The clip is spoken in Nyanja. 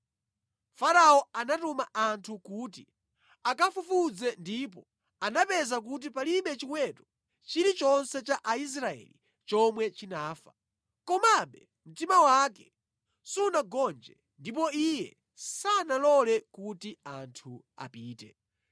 Farao anatuma anthu kuti akafufuze ndipo anapeza kuti palibe chiweto chilichonse cha Aisraeli chomwe chinafa. Komabe mtima wake sunagonje ndipo iye sanalole kuti anthu apite.